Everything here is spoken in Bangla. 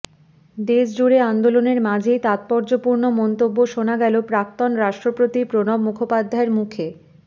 দেশজুড়ে আন্দোলনের মাঝেই তাৎপর্যপূর্ণ মন্তব্য শোনা গেল প্রাক্তন রাষ্ট্রপতি প্রণব মুখোপাধ্যায়ের মুখে